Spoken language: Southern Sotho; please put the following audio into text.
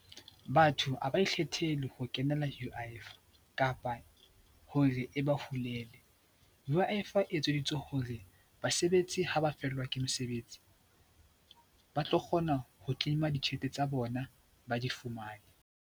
Batho ha ba ikgethele ho kenela U_I_F kapa hore e ba hulele. U_I_F e etseditswe hore basebetsi ha ba fellwa ke mesebetsi ba tlo kgona ho claim-a ditjhelete tsa bona, ba di fumane.